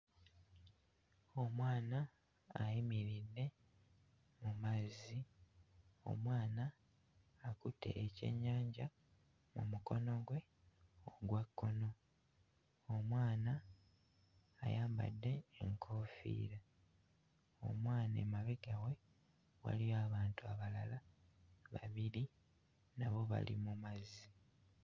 Omwana ayimiridde mu mazzi, omwana akutte ekyennyanja mu mukono gwe ogwa kkono, omwana ayambadde enkoofiira; omwana emabbega we waliyo abantu abalala babiri nabo bali mu mazzi.